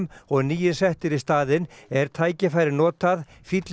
og nýir settir í staðinn er tækifærið notað